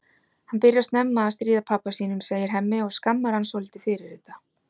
Hann byrjar snemma að stríða pabba sínum, segir Hemmi og skammar hann svolítið fyrir þetta.